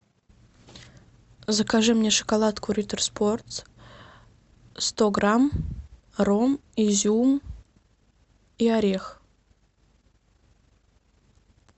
закажи мне шоколадку риттер спорт сто грамм ром изюм и орех